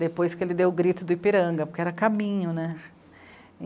depois que ele deu o grito do Ipiranga, porque era caminho, né?